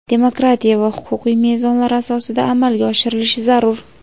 demokratiya va huquqiy mezonlar asosida amalga oshirilishi zarur.